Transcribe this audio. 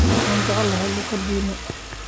Waxaan jeclahay luuqadeena